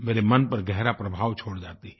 मेरे मन पर गहरा प्रभाव छोड़ जाती हैं